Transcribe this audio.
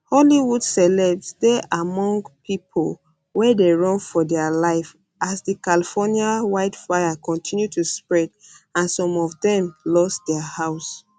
hollywood celebs dey among pipo wey dey run for dia life as di california wildfire kontinu to spread and some of dem lose dia house